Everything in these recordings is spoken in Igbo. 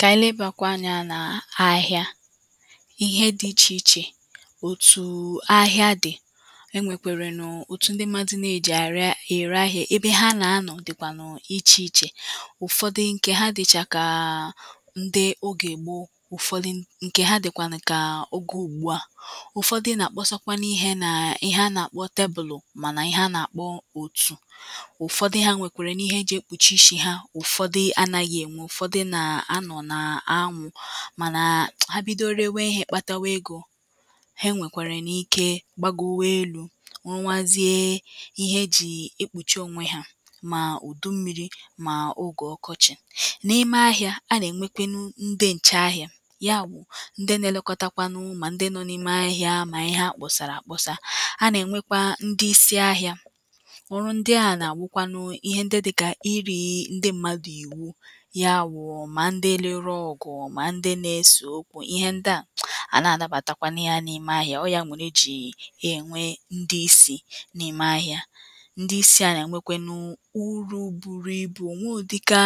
ka anyị lebakwa anyȧ na ahịa ihe dị ichè ichè òtù um ahịa dị̀.e nwèkwèrè n’òtu ndị mmadụ̇ nà-èji ara ère ahịa ebe ha nà-anọ̀ dịkwànụ̀ ichè ichè ụ̀fọdụ ǹkè ha dị̀chà kàà um ndị ogè ègbo ụ̀fọdụ ǹkè ha dị̀kwànụ̀ kà oge ùgbùa ụ̀fọdụ nà-àkpọsọkwa n’ihe nà ịhe a nà-àkpọ tebụlụ̀ mànà ịhe a nà-àkpọ òtù ụ̀fọdụ ha nwèkwèrènu ihe e jì ekpùchi ishi̇ ha ụ̀fọdụ anaghị̇ ènwe ụ̀fọdụ nà um anwụ mànà ha bidoro rewe ihe-èkpatawa egȯ ha e nwèkwàrà na ike gbago we elu wewazie ihe e jì ekpùchi onwe ha mà ùdu mmi̇ri̇ mà ọ̀ge ọkọchị̀.n’ime ahị̇ȧ a nà-ènwekwenu ndị ǹcheahịa ya bụ̀ ndị na-elekọtakwanụ mà ndị nọ̇ n’ime ahị̇ȧ mà ihe akpọ̀sàrà akpọsà a nà-ènwekwa ndị isi ahị̇ȧ[paues] ọrụ ndị ahụ̀ nà-àbukwanụ ihe ndị dịkà iri̇ ndị mmadụ̀ iwu ya wu ma ndị ruru ọgụ mà ndị nȧ-esò okwu ihe ndị à ànaghi anabàtakwanu ya n’ihe n’ime ahịȧ ọọ̇ ya mere ejì e nwe ndị isì n’ime ahịȧ.ndị isi̇ a nà-ànwekwe nu urù buru ibù o nweghị òdika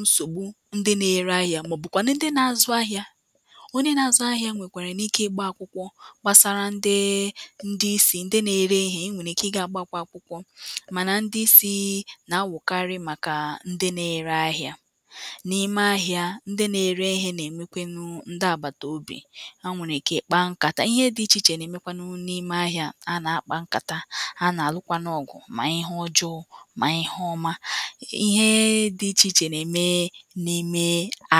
nsògbu ndị nà-ere ahịȧ màọ̀bụ̀kwànụ̀ ndị nȧ-azụ̇ ahịȧ onye nȧ-azụ̇ ahịȧ nwèkwàrà n’ikė gbaa akwụkwọ gbàsara ndị ndị isì ndị nà-ere ihe e nwèrè ike ị gà-àgbà akwụkwọ mànà ndị isi̇ um nà-ànwụ kari màkà ndị nȧ-ere ahịȧ. nà-ime ahịȧ ǹdi na-ere ihe nà-èmekwanụ ǹdi àgbàtòbi ha nwèrè ike kpaa nkàta ihe dị̇ ichè ichè nà-èmekwanụ n’ime ahị̇ȧ ha nà-akpa nkàta ha nà-àlụkwanụ ọ̀gụ̀ mà ihe ọjọọ mà ihe ọma. ihe um dị̇ ichè ichè nà-ème n’ime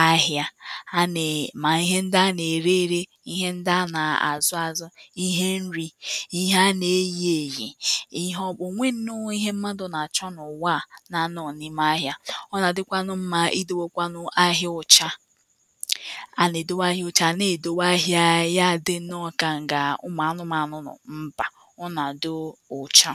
ahị̇ȧ.ha na um mà ihe ndị a nà-ère ėre ihe ndị a nà-àzụ azụ ihe nri ihe a nà-eyì eyì ihe ọ̀kpu onweghi nnọọ ihe mmadụ̀ nà-àchọ n’ụ̀wa a na-anọ̇ghi n’ime ahị̇ȧ.ọ nà-àdịkwanụ mma i dịwọkwanụ ahịa ụ̀cha.a nà-èdowe ahịa ocha na-èdowe ahịa ya dị n’ọka ǹkà nga ụmụ̀ anụ̀manụ̀ nọ mbaa ọnà dị ụcha